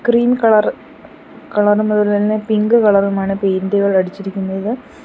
Cream colour കലർന്നത് തന്നെ തന്നെ പിങ്ക് കളറുമാണ് പെയിന്റുകൾ അടിച്ചിരിക്കുന്നത്.